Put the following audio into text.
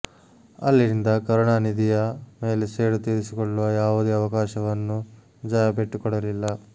ಅಲ್ಲಿಂದ ಕರುಣಾನಿಧಿಯ ಮೇಲೆ ಸೇಡು ತೀರಿಸಿಕೊಳ್ಳುವ ಯಾವುದೇ ಅವಕಾಶವನ್ನು ಜಯಾ ಬಿಟ್ಟುಕೊಡಲಿಲ್ಲ